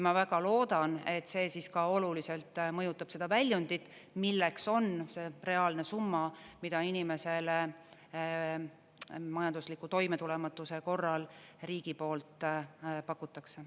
Ma väga loodan, et see siis ka oluliselt mõjutab seda väljundit, milleks on see reaalne summa, mida inimesele majandusliku toimetulematuse korral riigi poolt pakutakse.